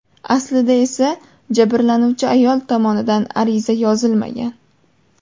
Aslida esa jabrlanuvchi ayol tomonidan ariza yozilmagan.